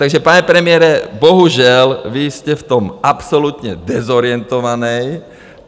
Takže pane premiére, bohužel vy jste v tom absolutně dezorientovaný.